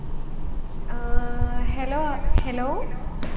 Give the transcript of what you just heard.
ah hello ah hello